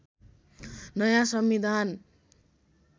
नयाँ संविधान